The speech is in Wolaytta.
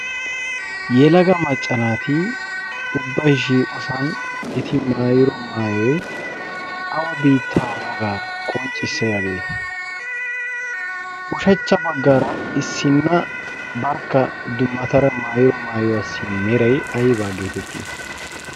yelaga maccanaati ubbaishiiosan eti maayiro maayoi awa biittaa woogaa qonccissiyaagee? ushachcha baggaara issinna barkka dumatara maayiro maayuwaassi merai aibaa geetettii?